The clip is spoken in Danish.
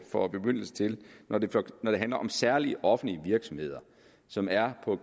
får bemyndigelse til når det handler om særlige offentlige virksomheder som er på